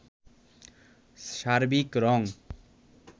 সার্বিক রং